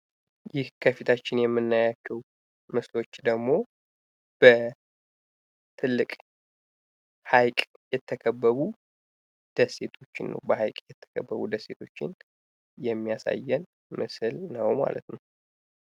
ይህ ከፊታችን የምናያቸው ምስሎች ደግሞ በትልቅ ሃይቅ የተከበቡ ደሴቶችን የሚያሳየን ምስል ነው።